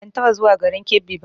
Ban taɓa zuwa garin Kebbi ba